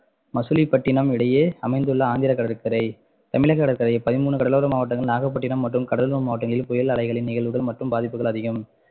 மசிலிப்பட்டினம் இடையே அமைந்துள்ள ஆந்திர கடற்கரை தமிழக கடற்கரையை பதிமூணு கடலோர மாவட்டங்கள் நாகப்பட்டினம் மற்றும் கடலூர் மாவட்டங்களில் புயல் அலைகளின் நிகழ்வுகள் மற்றும் பாதிப்புகள் அதிகம்